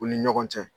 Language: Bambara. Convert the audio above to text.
U ni ɲɔgɔn cɛ